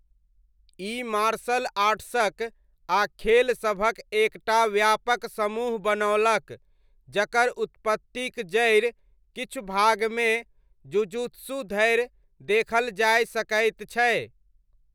ई martial आर्ट्सक आ खेलसभक एक टा व्यापक समूह बनओलक जकर उत्पत्तिक जड़ि किछु भागमे जुजुत्सु धरि देखल जाय सकैत छै।